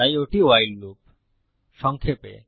তাই ওটি ভাইল লুপসংক্ষেপে